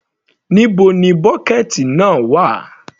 Níbo ni bọ́kẹ̀ẹ̀tì náà wà.